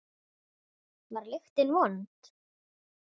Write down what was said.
Kristján Már: Var lyktin vond?